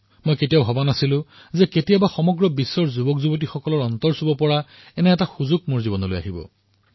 মইও কেতিয়াও ভবা নাছিলো যে বিশ্বৰ তৰুণসকলৰ হৃদয় স্পৰ্শ কৰিবলৈ মোৰ জীৱনলৈ সুযোগ আহিব